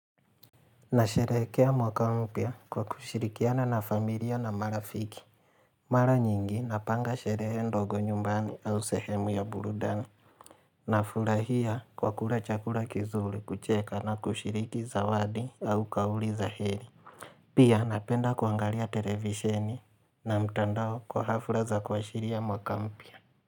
Nasherehekea mwaka mpya kwa kushirikiana na familia na marafiki Mara nyingi napanga sherehe ndogo nyumbani au sehemu ya burudani Nafurahia kwa kula chakula kizuri kucheka na kushiriki zawadi au kauli za heri Pia napenda kuangalia televisheni na mtandao kwa hafla za kuashiria mwaka mpya.